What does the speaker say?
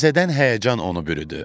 Təzədən həyəcan onu bürüdü.